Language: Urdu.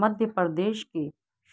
مدھیہ پردیش کے